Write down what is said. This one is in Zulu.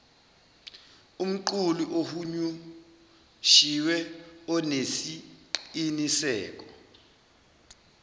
umqulu ohunyushiwe onesiqiniseko